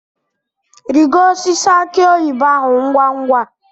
Rigo osisi aki oyibo ahu ngwa ngwa!